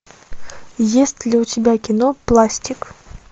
есть ли у тебя кино пластик